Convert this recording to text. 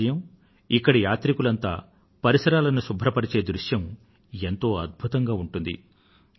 ప్రతి ఉదయం ఇక్కడ యాత్రికులంతా పరిసరాలను శుభ్రపరచే దృశ్యం ఎంతో అద్భుతంగా ఉంటుంది